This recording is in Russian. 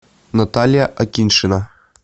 наталья акиньшина